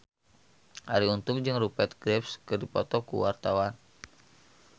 Arie Untung jeung Rupert Graves keur dipoto ku wartawan